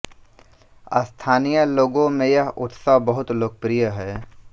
स्थानीय लोगों में यह उत्सव बहुत लोकप्रिय हैं